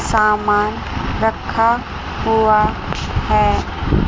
सामान रखा हुआ है।